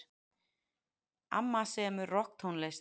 Amma semur rokktónlist.